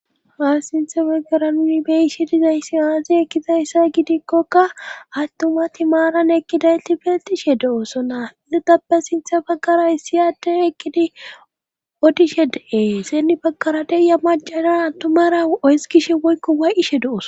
ha sinthe baggara nuni beyishe dizaysi aaze gizayssa gidikkokka attumatti maran ekkidaylti beetishe do7oosonna intappe sinthe bagara hissi adde ekkidi otishe de7e sinni bagkara deiya macadan attumara oyskishe woykko way7ishe do7os